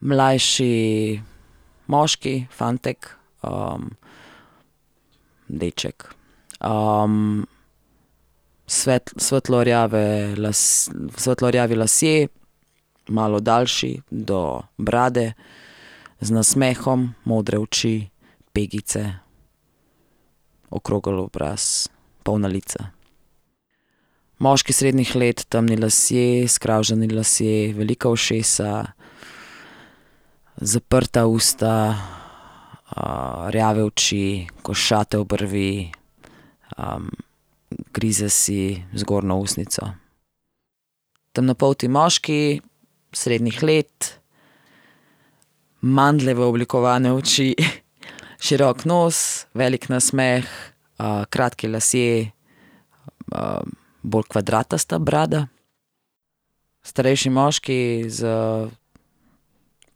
Mlajši moški, fantek, deček. svetlo rjave svetlo rjavi lasje, malo daljši, do brade, z nasmehom, modre oči, pegice, okrogel obraz, polna lica. Moški srednjih let, temni lasje, skravžani lasje, velika ušesa, zaprta usta, rjave oči, košate obrvi, grize si zgornjo ustnico. Temnopolti moški srednjih let, mandljevo oblikovane oči, širok nos, velik nasmeh, kratki lasje, bolj kvadratasta brada. Starejši moški s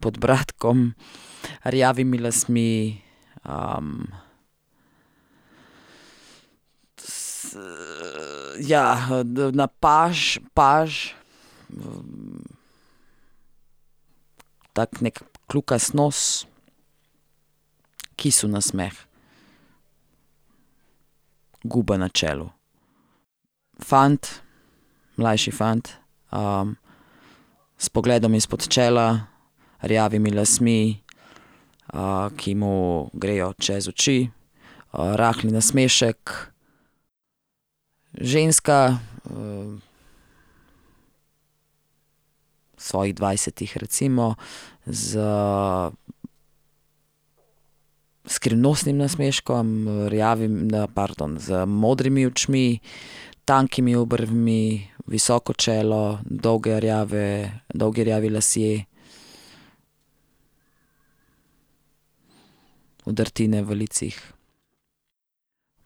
podbradkom, rjavimi lasmi, ja, na paž, paž, tako neki kljukast nos, kisel nasmeh, gube na čelu. Fant, mlajši fant, s pogledom izpod čela, rjavimi lasmi, ki mu grejo čez oči, rahel nasmešek. Ženska, v svojih dvajsetih, recimo, s skrivnostnim nasmeškom, pardon, z modrimi očmi, tankimi obrvmi, visoko čelo, dolgi rjavi, dolgi rjavi lasje, vdrtine v licih.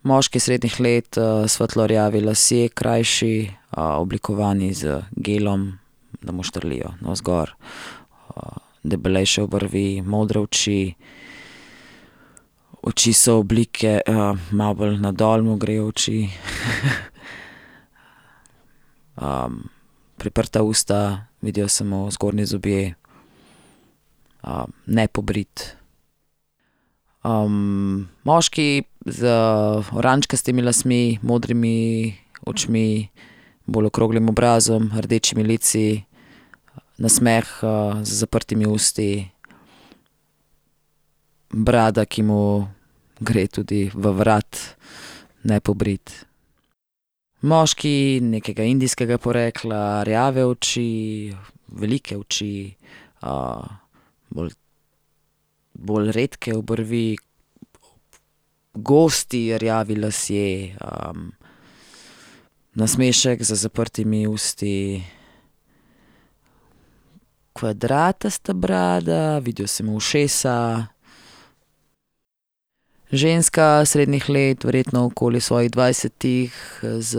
Moški srednjih let, svetlo rjavi lasje, krajši, oblikovani z gelom, da mu štrlijo navzgor, debelejše obrvi, modre oči, oči so oblike, malo bolj na dol mu grejo oči. priprta usta, vidijo se mu zgornji zobje, nepobrit. moški z oranžkastimi lasmi, modrimi očmi, bolj okroglim obrazom, rdečimi lici, nasmeh, z zaprtimi usti, brada, ki mu gre tudi v vrat, nepobrit. Moški nekega indijskega porekla, rjave oči, velike oči, bolj, bolj redke obrvi, gosti rjavi lasje, nasmešek z zaprtimi usti, kvadratasta brada, vidijo se mu ušesa. Ženska srednjih let, verjetno okoli svojih dvajsetih, z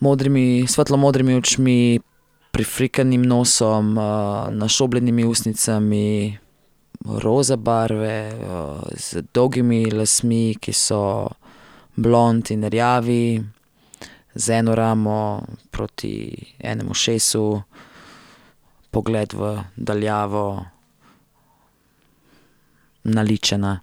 modrimi, svetlo modrimi očmi, prifrknjenim nosom, našobljenimi ustnicami roza barve, z dolgimi lasmi, ki so blond in rjavi, z eno ramo proti enim ušesu, pogled v daljavo, naličena.